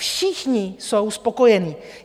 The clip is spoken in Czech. Všichni jsou spokojení.